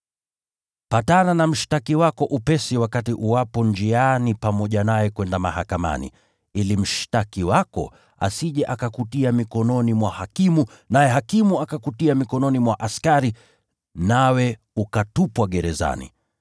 “Patana na mshtaki wako upesi wakati uwapo njiani pamoja naye kwenda mahakamani, ili mshtaki wako asije akakutia mikononi mwa hakimu, naye hakimu akakutia mikononi mwa askari, nawe ukatupwa gerezani.